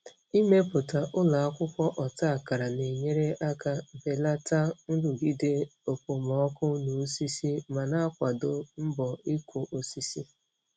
Ịmepụta ụlọ akwụkwọ ọta akara na-enyere aka belata nrụgide okpomọkụ na osisi ma na-akwado mbọ ịkụ osisi.